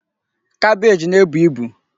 Kabeej naebu ibu.